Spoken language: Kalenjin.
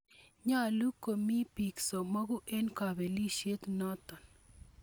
Nyolu komi biik somoku eng' kapelishet noto.